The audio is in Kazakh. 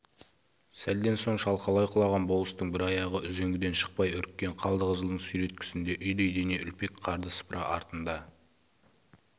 сәлден соң шалқалай құлаған болыстың бір аяғы үзеңгіден шықпай үріккен қалдықызылдың сүйреткісінде үйдей дене үлпек қарды сыпыра артында